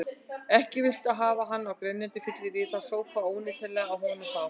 Ekki viltu hafa hann á grenjandi fylleríi, það sópaði óneitanlega að honum þá.